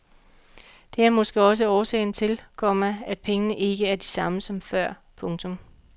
Det er måske også årsagen til, komma at pengene ikke er de samme som før. punktum